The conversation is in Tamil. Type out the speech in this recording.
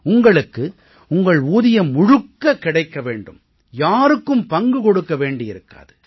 உங்களுக்கு உங்கள் ஊதியம் முழுக்க கிடைக்க வேண்டும் யாருக்கும் பங்கு கொடுக்க வேண்டியிருக்காது